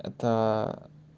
это